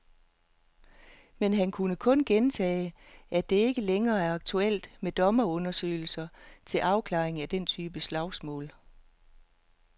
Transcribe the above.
Men han kunne kun gentage, at det ikke længere er aktuelt med dommerundersøgelser til afklaring af den type slagsmål.